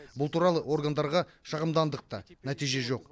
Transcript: бұл туралы органдарға шағымдандық та нәтиже жоқ